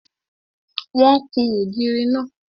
Wọ́n kún ògiri náà.